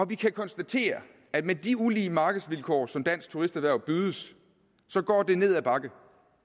vi kan konstatere at med de ulige markedsvilkår som danske turisterhverv bydes går det ned ad bakke